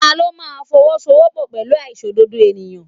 Ta ló máa fowosowopo pẹ̀lú aláìṣòdodo ènìyàn?